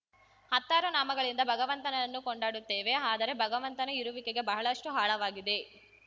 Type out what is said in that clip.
ಹತ್ತಾರು ನಾಮಗಳಿಂದ ಭಗವಂತನನ್ನು ಕೊಂಡಾಡುತ್ತೇವೆ ಆದರೆ ಭಗವಂತನ ಇರುವಿಕೆಗೆ ಬಹಳಷ್ಟುಆಳವಾಗಿದೆ